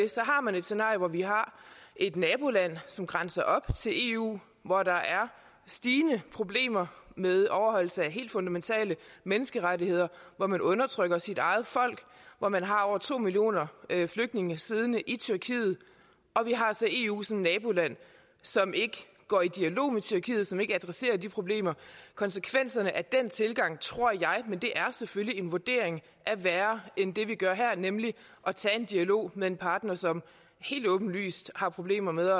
har man et scenarie hvor vi har et naboland som grænser op til eu hvor der er stigende problemer med overholdelse af helt fundamentale menneskerettigheder hvor man undertrykker sit eget folk hvor man har over to millioner flygtninge siddende og vi har altså eu som naboland som ikke går i dialog med tyrkiet som ikke adresserer de problemer konsekvenserne af den tilgang tror jeg men det er selvfølgelig en vurdering er værre end det vi gør her nemlig at tage en dialog med en partner som helt åbenlyst har problemer med